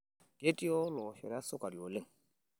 Ketii oloshoro esukari oleng.